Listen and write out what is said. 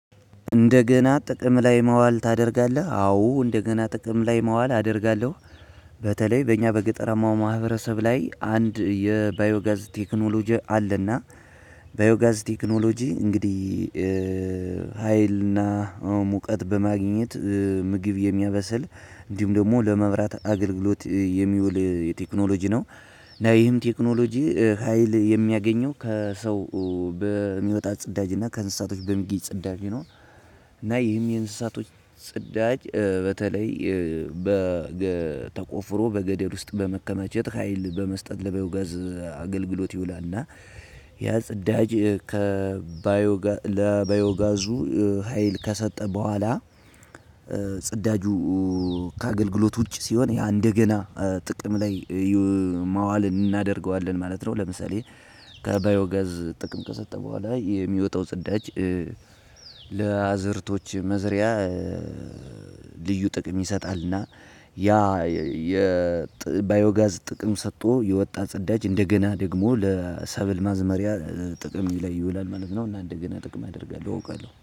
"እንደገና ጥቅም ላይ ማዋል ታደርጋለህ?" አዎ እንደገና ጥቅም ላይ ማዋል አደርጋለሁ። በተለይ በእኛ በገጠራማው ማህበረሰብ ላይ አንድ የባዮ ጋዝ ቴክኖሎጂ አለ እና ባዮ ጋዝ ቴክኖሎጂ እንግዲህ ሀይልና ሙቀት በማግኘት ምግብ የሚያበስል እንዲሁም ደግሞ ለመብራት አገልግሎት የሚውል የቴክኖሎጂ ነው። እና ይህም ቴክኖሎጂ ሀይል የሚያገኘው ከሰው በሚወጣ ጽዳጅ እና ከእንስሳቶች በሚገኝ ጽዳጅ ነው፤ እና ይህም የእንስሳቶች ጽዳጅ በተለይ በገ ተቆፍሮ በገደል ውስጥ በመከማቸት ሀይል በመስጠት ለባዮጋዝ አገልግሎት ይውላል ና ያ ጽዳጅ ከባዮጋ ለባዮ ጋዙ ሀይል ከሰጠ በኋላ ጽዳጁ ከአገልግሎት ውጪ ሲሆን ያ እንደገና ጥቅም ላይ ይ ማዋል አናደርገዋለን ማለት ነው። ለምሳሌ ከባዮ ጋዝ ጥቅም ከሰጠ በኋላ የሚወጣው ጽዳጅ ለአዝእርቶች መዝሪያ ልዩ ጥቅም ይሰጣል አና ያ የ ጥ ባዮጋዝ ጥቅም ሰጦ የወጣ ጽዳጅ አንደገና ደግሞ ለሰብል ማዝመሪያ ጥቅም ላይ ይውላል ማለት ነው እና ነደዚህ አይነት ጥቅም አደርጋለሁ አውቃለሁ።